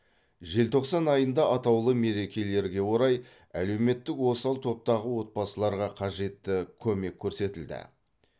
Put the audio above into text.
желтоқсан айында атаулы мерекелерге орай әлеуметтік осал топтағы отбасыларға қажетті көмек көрсетілді